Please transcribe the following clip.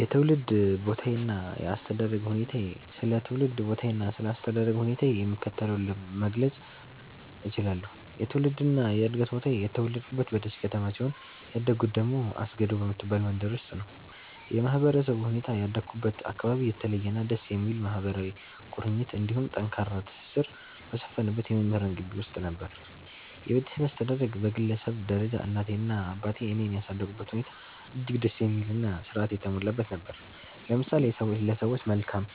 የትውልድ ቦታዬና የአስተዳደግ ሁኔታዬ ስለ ትውልድ ቦታዬና ስለ አስተዳደግ ሁኔታዬ የሚከተለውን መግለጽ እችላለሁ፦ የትውልድና የዕድገት ቦታዬ፦ የተወለድኩት በደሴ ከተማ ሲሆን፣ ያደግኩት ደግሞ አስገዶ በምትባል መንደር ውስጥ ነው። የማህበረሰቡ ሁኔታ፦ ያደግኩበት አካባቢ የተለየና ደስ የሚል ማህበራዊ ቁርኝት እንዲሁም ጠንካራ ትስስር በሰፈነበት የመምህራን ግቢ ውስጥ ነበር። የቤተሰብ አስተዳደግ፦ በግለሰብ ደረጃ እናቴና አባቴ እኔን ያሳደጉበት ሁኔታ እጅግ ደስ የሚልና ሥርዓት የተሞላበት ነበር፤ ለምሳሌ ለሰዎች መልካም